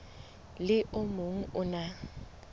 le o mong o na